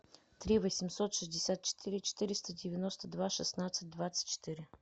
три восемьсот шестьдесят четыре четыреста девяносто два шестнадцать двадцать четыре